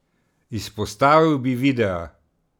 Izpostavil bi videa.